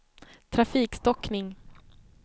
trafikstockning